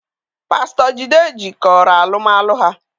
Pastor Jide jikọrọ alụm alụ ha.